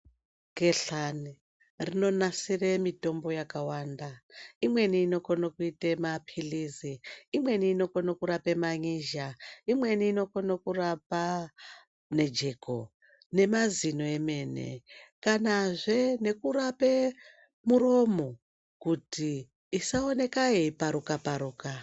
Gehlani rinonasire mitombo yakawanda. Imweni inokone kuite maphilizi, umweni unokone kurape man'izha, imweni inokone kurape jeko nemazino emene kanazve nekurape miromo kuti isaoneke yeiparuka paruka.